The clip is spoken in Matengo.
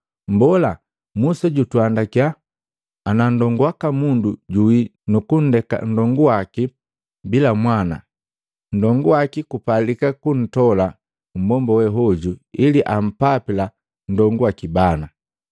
“Mbola, Musa, jutuandakya, ‘Ana nndongu waka mundu juwi nukunndeka nndonguwaki bila mwana, nndongu waki kupalika kuntola mmbomba we hoju, ili ampapila nndongu waki bana.’